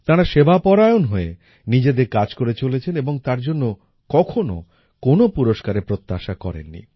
তাঁরা সেবাপরায়ণ হয়ে নিজেদের কাজ করে চলেছেন এবং তার জন্য কখনও কোনো পুরস্কারের প্রত্যাশা করেন নি